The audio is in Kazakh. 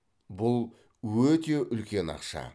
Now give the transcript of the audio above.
бұл өте үлкен ақша